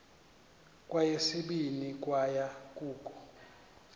kweyesibini kwaye kukho